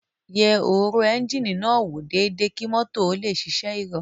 Yẹ òróró ẹ́ńjíìnì náà wò déédéé kí mọ́tò ó lè ṣiṣẹ́ ìrọ̀rùn